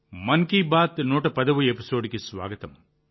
మన్ కీ బాత్ 110వ ఎపిసోడ్కి స్వాగతం